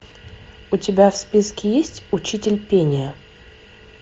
у тебя в списке есть учитель пения